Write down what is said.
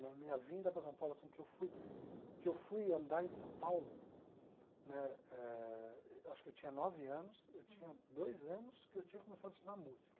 Mas minha vinda para São Paulo, assim, que eu fui que eu fui andar em São Paulo, né eh acho que eu tinha nove anos, eu tinha dois anos que eu tinha começado a estudar música.